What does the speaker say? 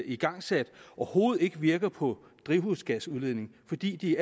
igangsat overhovedet ikke virker på drivhusgasudledningen fordi de